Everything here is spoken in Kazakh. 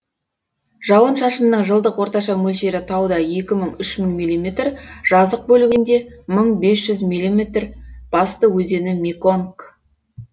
жауын шашынның жылдық орташа мөлшері тауда екі мың үш мың миллиметр жазық бөлігінде мың бес жүз миллиметр басты өзені меконг